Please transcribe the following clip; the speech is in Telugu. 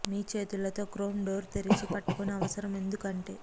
మీ చేతులతో క్రోమ్ డోర్ తెరిచి పట్టుకుని అవసరం ఎందుకు అంటే